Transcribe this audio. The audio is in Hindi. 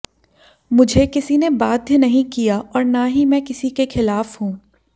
मुझे किसी ने बाध्य नहीं किया और न ही मैं किसी के खिलाफ हूं